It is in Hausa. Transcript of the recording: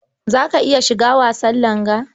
Za ka iya shiga wasan langa?